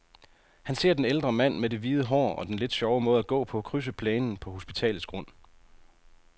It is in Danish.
Han ser den ældre mand med det hvide hår og den lidt sjove måde at gå på, krydse plænen på hospitalets grund.